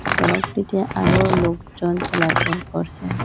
সড়কটিতে আরও লোকজন চলাচল করসে।